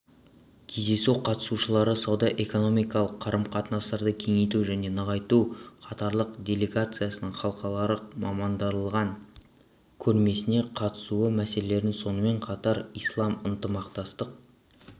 кездесу қатысушылары сауда-экономикалық қарым-қатынастарды кеңейту және нығайту катарлық делегацияның халықаралық мамандандырылған көрмесіне қатысуы мәселелерін сонымен қатар ислам ынтымақтастық